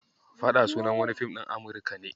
"Faɗa" sunan wani Film din Amurika ne.